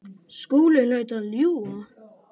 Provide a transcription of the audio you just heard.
Skúli hlaut að ljúga.